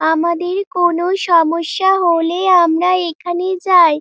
আমাদের কোন সমস্যা হলে আমরা এখানেই যাই।